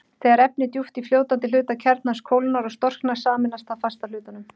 Þegar efni djúpt í fljótandi hluta kjarnans kólnar og storknar, sameinast það fasta hlutanum.